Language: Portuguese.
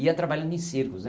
E ia trabalhando em circos,